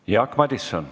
Jaak Madison.